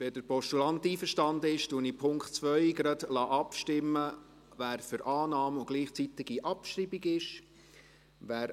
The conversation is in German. Wenn der Postulant einverstanden ist, lasse ich beim Punkt 2 gerade gleichzeitig über Annahme und Abschreibung abstimmen.